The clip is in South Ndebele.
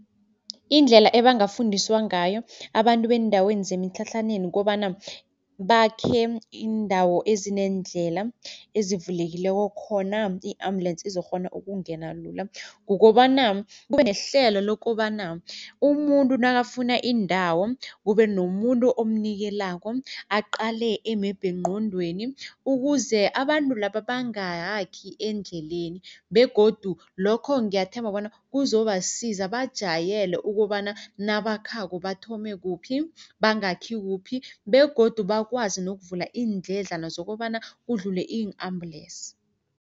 Indlela ebangafundiswa ngayo abantu beendaweni zemitlhatlhaneni kukobana, bakhe iindawo ezineendlela, ezivulekileko khona i-ambulensi izokghona ukungena lula. Kukobana, kube nehlelo lokobana umuntu nakafuna indawo, kube nomuntu omnikelako aqale emebhengqondweni ukuze abantu laba bangayakhi endleleni begodu lokho ngiyathemba bona kuzobasiza, bajayele ukobana nabakhako bathome kuphi, bangakhi kuphi begodu bakwazi nokuvula indledlana zokobana kudlule i-ambulensi.